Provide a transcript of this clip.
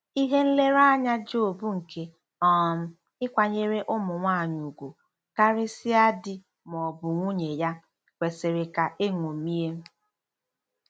Ihe nlereanya Job nke um ịkwanyere ụmụ nwanyị ùgwù, karịsịa di ma ọ bụ nwunye ya, kwesịrị ka eṅomie.